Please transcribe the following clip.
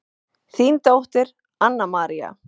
Þín dóttir Anna María.